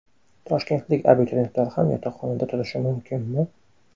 Toshkentlik abituriyentlar ham yotoqxonada turishi mumkinmi?